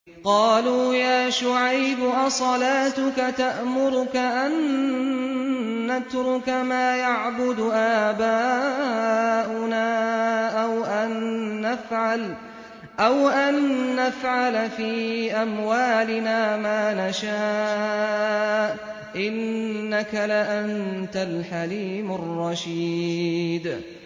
قَالُوا يَا شُعَيْبُ أَصَلَاتُكَ تَأْمُرُكَ أَن نَّتْرُكَ مَا يَعْبُدُ آبَاؤُنَا أَوْ أَن نَّفْعَلَ فِي أَمْوَالِنَا مَا نَشَاءُ ۖ إِنَّكَ لَأَنتَ الْحَلِيمُ الرَّشِيدُ